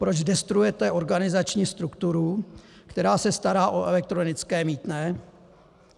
Proč destruujete organizační strukturu, která se stará o elektronické mýtné?